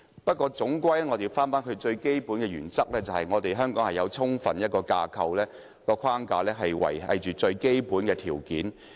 不過，總歸最重要的原則是，香港有充分的框架維繫最基本的條件。